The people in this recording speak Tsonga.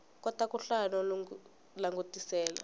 kota ku hlaya no langutisela